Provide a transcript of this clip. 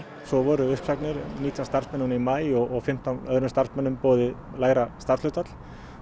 svo voru uppsagnir nítján starfsmenn í maí og fimmtán öðrum starfsmönnum boðið lægra starfshlutfall